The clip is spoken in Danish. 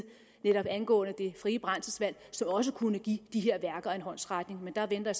angående det frie brændselsvalg som også kunne give de her værker en håndsrækning men der venter